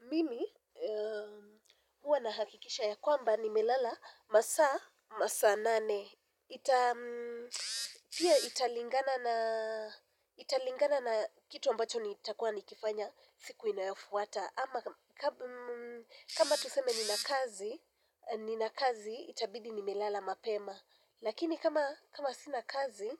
Mimi huwa na hakikisha ya kwamba nimelala masaa, masaa nane. Pia italingana na kitu ambacho nitakuwa nikifanya siku inayofuata. Ama kama tuseme ninakazi, itabidi nimelala mapema. Lakini kama sinakazi,